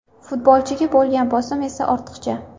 Futbolchiga bo‘lgan bosim esa ortiqcha.